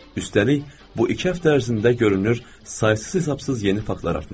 Üstəlik, bu iki həftə ərzində görünür saysız-hesabsız yeni faktlar artmışdı.